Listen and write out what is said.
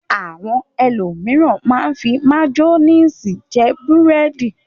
Àwọn ẹlòmíràn máa ń fi máyónísì jẹ búrẹ́dì.